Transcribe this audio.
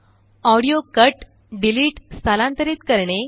audio cut delete स्थलांतरित करणे